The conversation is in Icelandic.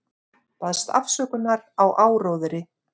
Baðst afsökunar á áróðri